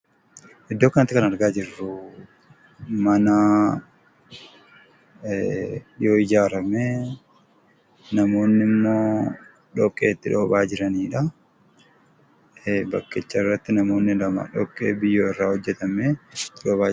Iddoo kanatti kan argaa jirru, mana yoo ijaarame namoonni immoo dhoqqee itti dhoobaa jiraniidha.